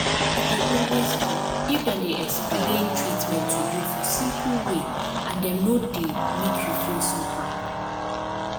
e dey always help if dem dey explain treatment to you for simple way and dem no dey make you feel somehow.